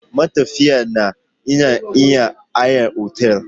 Matafiya na iya yin hayar otal.